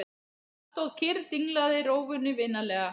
Hann stóð kyrr og dinglaði rófunni vinalega.